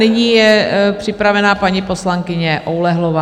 Nyní je připravena paní poslankyně Oulehlová.